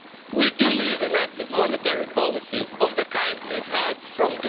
We do need an active monetary policy of the kind we've had from